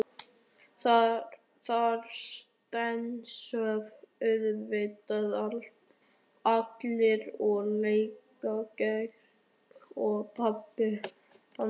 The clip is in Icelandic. Þar steinsofa auðvitað allir og líka Georg og pabbi hans.